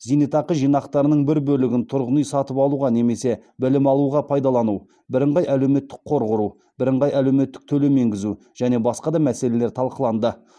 зейнетақы жинақтарының бір бөлігін тұрғын үй сатып алуға немесе білім алуға пайдалану бірыңғай әлеуметтік қор құру бірыңғай әлеуметтік төлем енгізу және басқа да мәселелер талқыланды